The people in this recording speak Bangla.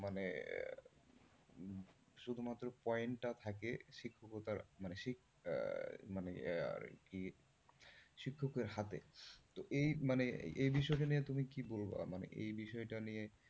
শুধুমাত্র point টা থাকে শিক্ষকতার মানে আহ মানে আহ মানে শিক্ষকের হাতে তো এই মানে এই বিষয়টা নিয়ে তুমি কি বলবা? মানে এই বিষয়টা নিয়ে,